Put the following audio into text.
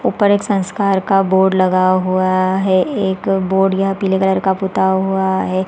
ऊपर एक संस्कार का बोर्ड लगाया हुआ है एक बोर्ड यह पीले पुता हुआ हैं ।